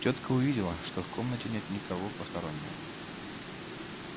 тётка увидела что в комнате нет никого постороннего